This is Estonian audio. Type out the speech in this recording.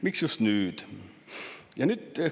"Miks just nüüd?